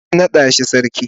sai ka nada shi sarki.